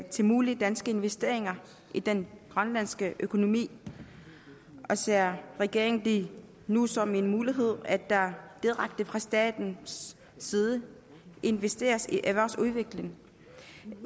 til mulige danske investeringer i den grønlandske økonomi ser regeringen det nu som en mulighed at der direkte fra statens side investeres i erhvervsudvikling